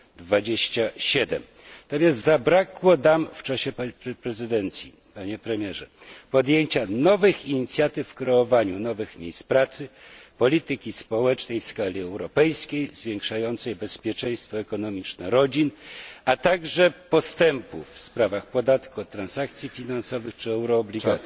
27. Natomiast zabrakło, Panie Premierze, podczas prezydencji podjęcia nowych inicjatyw w kreowaniu nowych miejsc pracy, polityki społecznej w skali europejskiej zwiększającej bezpieczeństwo ekonomiczne rodzin, a także postępów w sprawach podatku od transakcji finansowych czy euroobligacji.